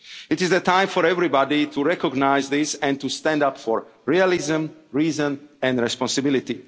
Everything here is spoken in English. shared resources. It is the time for everybody to recognise this and to stand up for realism, reason